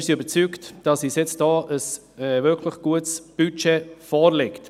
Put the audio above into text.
Wir sind davon überzeugt, dass uns jetzt ein wirklich gutes Budget vorliegt.